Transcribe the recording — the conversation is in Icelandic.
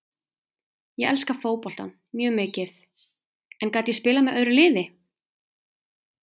Ég elska fótboltann, mjög mikið, en gat ég spilað með öðru liði?